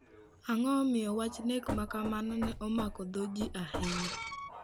Ang'o momiyo wach nek ma kamano ne omako dho ji ahinya?